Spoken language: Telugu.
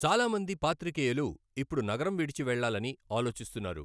చాలా మంది పాత్రికేయులు ఇప్పుడు నగరం విడిచి వెళ్లాలని ఆలోచిస్తున్నారు.